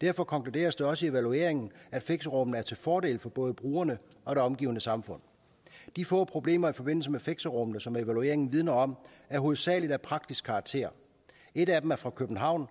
derfor konkluderes det også i evalueringen at fixerummene er til fordel for både brugerne og det omgivende samfund de få problemer i forbindelse med fixerummene som evalueringen vidner om er hovedsagelig af praktisk karakter et af dem er fra københavn